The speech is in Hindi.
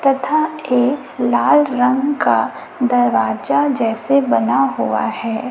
तथा एक लाल रंग का दरवाजा जैसे बना हुआ है।